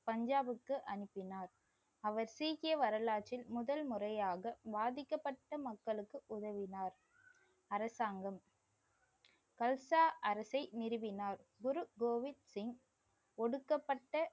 பஞ்சாப்க்கு அனுப்பினார் அவர் சீக்கிய வரலாற்றில் முதல் முறையாக பாதிக்கப்பட்ட மக்களுக்கு உதவினார். அரசாங்கம். கல்சா அரசை நிறுவினார். குரு கோவிந்த் சிங் ஒடுக்கப்பட்ட